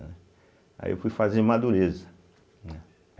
Aí eu fui fazer Madureza, né.